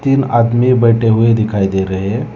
तीन आदमी बैठे हुए दिखाई दे रहे हैं।